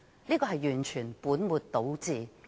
這完全是本末倒置。